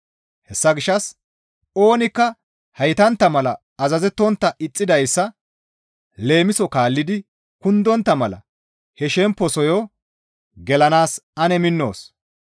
Hessa gishshas oonikka heytantta mala azazettontta ixxidayssa leemiso kaallidi kundontta mala he shemposoyo gelanaas ane minnoos.